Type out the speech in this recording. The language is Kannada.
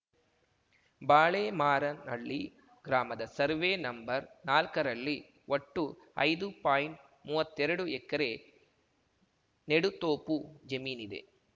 ಬಾಳೆ ಮಾರನಹಳ್ಳಿ ಗ್ರಾಮದ ಸರ್ವೆ ನಂಬರ್ನಾಲ್ಕರಲ್ಲಿ ಒಟ್ಟು ಐದು ಪಾಯಿಂಟ್ಮುವತ್ತೆರಡು ಎಕರೆ ನೆಡುತೋಪು ಜಮೀನಿದೆ